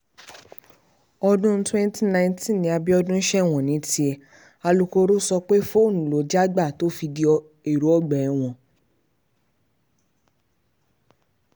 ọdún 2019 ni abiodun sẹ́wọ̀n ní tiẹ̀ alūkkoro sọ pé fóònù ló já gbà tó fi di ẹ̀rọ ọgbà ẹ̀wọ̀n